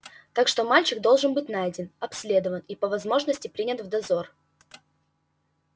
так что мальчик должен быть найден обследован и по возможности принят в дозор